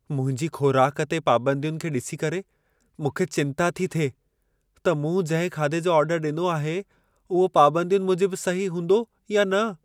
मुंहिंजी ख़ोराक ते पाबंदियुनि खे ॾिसी करे, मूंखे चिंता थी थिए त मूं जिंहिं खाधे जो ऑर्डर ॾिनो आहे, उहा पाबंदियुनि मूजिबु सही हूंदो या न।